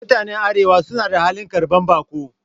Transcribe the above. Mutanen arewa suna hali na karban bako